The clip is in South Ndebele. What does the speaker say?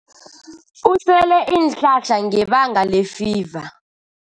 Usele iinhlahla ngebanga lefiva.